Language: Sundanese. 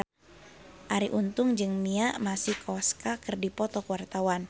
Arie Untung jeung Mia Masikowska keur dipoto ku wartawan